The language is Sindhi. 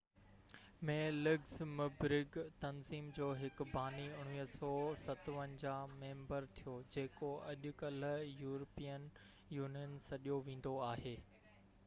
1957 ۾ لگزمبرگ تنظيم جو هڪ باني ميمبر ٿيو جيڪو اڄڪلهه يورپين يونين سڏيو ويندو آهي